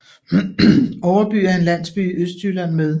Overby er en landsby i Østjylland med